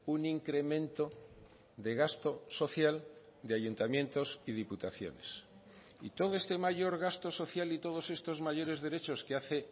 un incremento de gasto social de ayuntamientos y diputaciones y todo este mayor gasto social y todos estos mayores derechos que hace